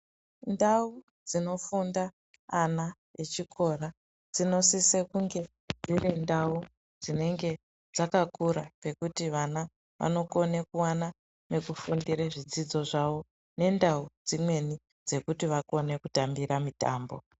Ndau dzifunda ana echikora dzinosise kunge dzirindau dzinenge dzakakura pekuti vana vanokone kuvana mekufundire zvidzidzo zvavo. Nendau dzimweni dzekuti vakone kutambira mitambo.